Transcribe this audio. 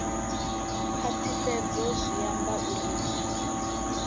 khwaṱhisedzo zwi amba uri mbuno